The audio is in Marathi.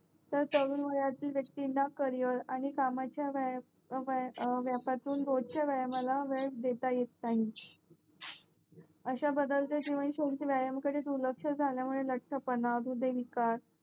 तर तरुण वयातील वक्तीला करियर आणि कामाचा वयात व्यापाचा रोजच्या व्यायामाला वेळ देता येत नाहीत अश्या बदलत्या जीवनाशी व्यायाम कडे दुर्लक्ष झाल्या मुळे लटपणा दुर्दयविका